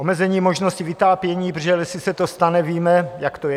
Omezení možnosti vytápění, protože jestli se to stane, víme, jak to je.